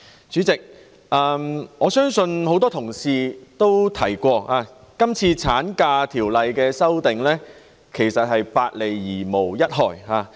主席，多位議員皆提及，《條例草案》對產假提出的修訂，其實是"百利而無一害"的。